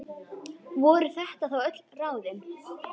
Voru þetta þá öll ráðin?